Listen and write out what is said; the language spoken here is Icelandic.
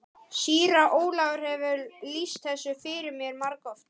Síra Ólafur hefur lýst þessu fyrir mér margoft.